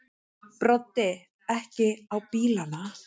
Broddi: Ekki á bílana?